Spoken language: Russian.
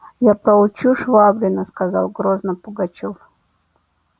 я проучу швабрина сказал грозно пугачёв